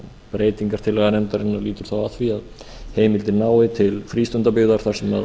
breytingartillaga nefndarinnar lýtur þá að því að heimildin nái til frístundabyggðar þar sem